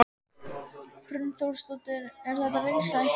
Hrund Þórsdóttir: Er þetta vinsælt?